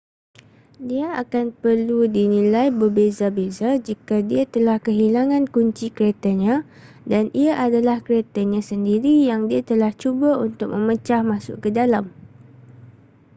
dia akan perlu dinilai berbeza-beza jika dia telah kehilangan kunci keretanya dan ia adalah keretanya sendiri yang dia telah cuba untuk memecah masuk ke dalam